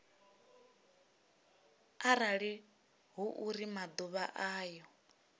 arali hu uri maḓuvha ayo